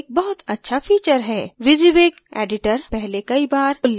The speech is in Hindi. wysiwyg editor पहले कई बार उल्लेखित किया गया है